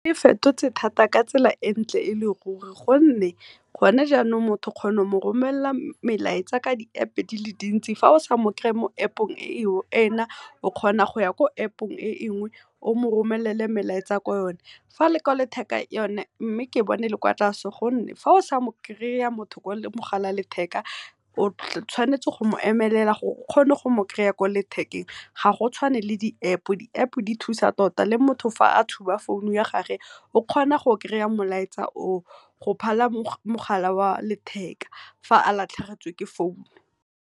E fetotse thata ka tsela entle e le ruri gonne go ne jaanong motho o kgona go mo romelela molaetsa ka di-App di le dintsi, fa o sa mo kry-e mo App-ong e na o kgona go ya ko App-ong enngwe o mo romelele melaetsa ko yone. Fa yone ke bona e le kwa tlase thata gonne fa o sa mo kry-a motho ko mogala o a letheka o tshwanetse go mo emelela gore o kgone go mo kry-a kwa lethekeng. Ga go tshwane le di-App, di-App di thusa tota le motho fa a tshuba founu ya gagwe, o kgona go kry-a molaetsa o o go phala mogala wa letheka fa a latlhegetswe ke founu.